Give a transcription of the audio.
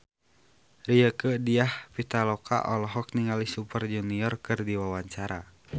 Rieke Diah Pitaloka olohok ningali Super Junior keur diwawancara